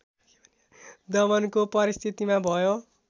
दमनको परिस्थितिमा भयो